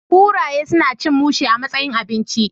Kuraye suna cin mushe a matsayin abinci